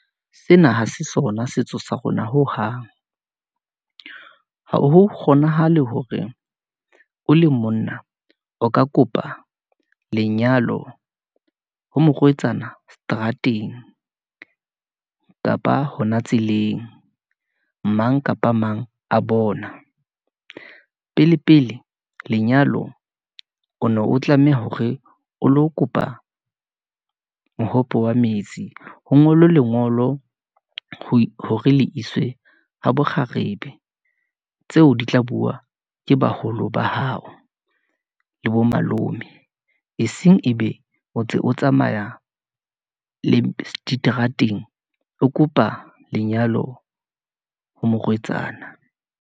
Sena ha se sona setso sa rona hohang , ha ho kgonahale hore o le monna, o ka kopa lenyalo ho morwetsana seterateng , kapa hona tseleng. Mang kapa mang a bona, pele, pele lenyalo o no o tlameha hore, o lo kopa mohope wa metsi. Ho ngolwe lengolo ho hore le iswe habo kgarebe, tseo di tla bua ke baholo ba hao, le bo malome, eseng ebe o ntse o tsamaya le diterateng, o kopa lenyalo ho morwetsana.